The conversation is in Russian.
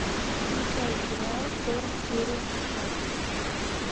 включай сериал хор серия шестнадцать